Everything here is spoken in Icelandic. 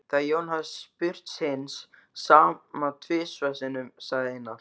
Þegar Jón hafði spurt hins sama tvisvar sinnum sagði Einar